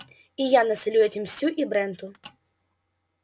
и я насолю этим стю и бренту